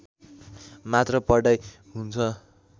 मात्र पढाइ हुन्छ